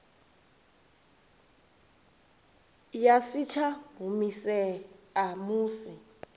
ya si tsha humisea musi